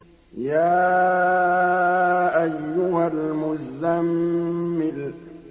يَا أَيُّهَا الْمُزَّمِّلُ